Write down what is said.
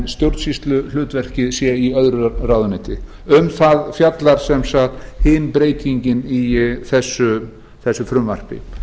stjórnsýsluhlutverkið sé í öðru ráðuneyti um það fjallar sem sagt hin breytingin í þessu frumvarpi